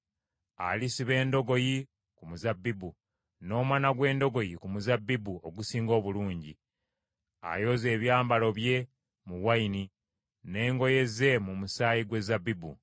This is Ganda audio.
Alisiba endogoyi ku muzabbibu, n’omwana gw’endogoyi ku muzabbibu ogusinga obulungi, ayoza ebyambalo bye mu nvinnyo, n’engoye ze mu musaayi gwe zabbibu.